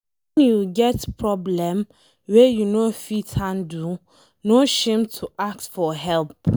Wen you get problem wey you no fit handle, no shame to ask for help.